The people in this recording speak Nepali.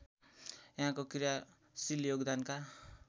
यहाँको क्रियाशील योगदानका